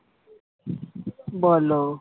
বলো